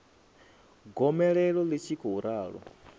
gomelelo ḽi tshi khou ralo